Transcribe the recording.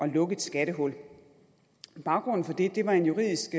lukke et skattehul baggrunden for det var en juridisk